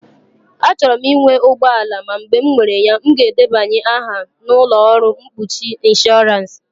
Achọrọ m ịnwe ụgbọ ala ma mgbe m mere ya, m ga-edebanye aha na ụlọ ọrụ mkpuchi ịnshọransị.